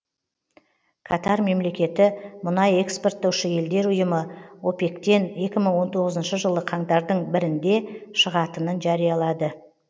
катар мемлекеті мұнай экспорттаушы елдер ұйымы опек тен екі мың он тоғызыншы жылы қаңтардың бірінде шығатынын жариялады